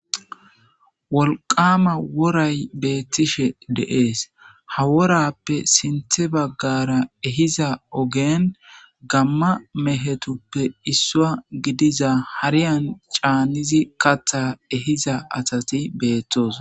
wolqama woray beettishe de'ees ha worappe sinthe baggara ehiza ogeen gamma mehetuppe issua gidiza hariyan caanizi katha ehiza asati beettosona